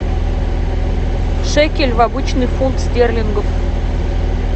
шекель в обычный фунт стерлингов